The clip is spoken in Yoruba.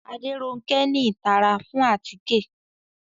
Aderonke ni itara fun atike